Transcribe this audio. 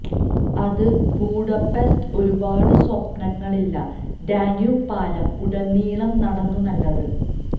അത് ബൂഡപെസ്ട് ഒരു പാട് സ്വപ്നങ്ങളില്ല ഡാന്യൂബ് പാലം ഉടനീളം നടന്നു നല്ലത്